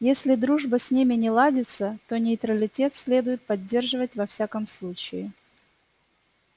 если дружба с ними не ладится то нейтралитет следует поддерживать во всяком случае